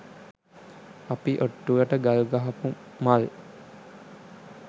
අපි ඔට්ටුවට ගල් ගහපු මල්